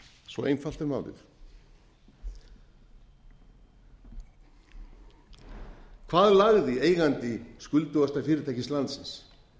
svo einfalt er málið hvað lagði eigandi skuldugasta fyrirtækis landsins